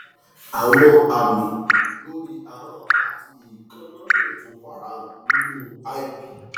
àwọn àmì lórí ahọn àti èékánná lè tún farahàn nínú lp